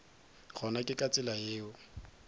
gona ke ka tsela yeo